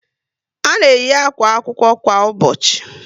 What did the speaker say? A na eyi àkwà akwụkwọ kwa ụbọchị